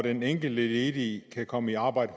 at den enkelte ledige kan komme i arbejde